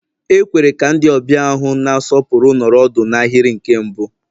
E kwere ka ndị ọbịa ahụ na-asọpụrụ nọrọ ọdụ n'ahịrị nke mbụ